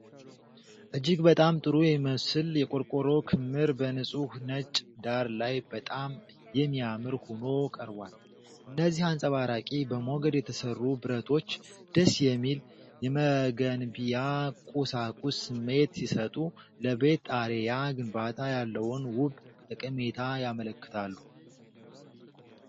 እጅግ በጣም ጥሩ የሚመስል የቆርቆሮ ክምር በንፁህ ነጭ ዳራ ላይ በጣም የሚያምር ሆኖ ቀርቧል። እነዚህ አንጸባራቂ፣ በሞገድ የተሠሩ ብረቶች ደስ የሚል የመገንቢያ ቁሳቁስ ስሜት ሲሰጡ፣ ለቤት ጣሪያ ግንባታ ያለውን ውብ ጠቀሜታ ያመለክታሉ።